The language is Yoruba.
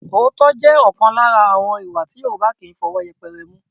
Òótọ́ jẹ́ ọ̀kan lára àwọn ìwà tí Yorùbá kì í fi ọwọ́ yẹpẹrẹ mú